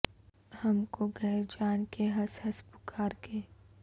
ہم کو غیر جان کے ہنس ہنس پکار کے